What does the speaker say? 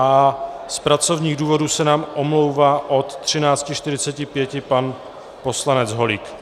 A z pracovních důvodů se nám omlouvá od 13.45 pan poslanec Holík.